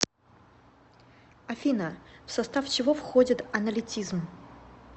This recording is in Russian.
афина в состав чего входит аналитизм